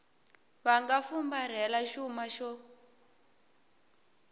va nga fumbarhela xuma xo